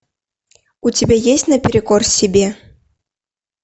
у тебя есть наперекор себе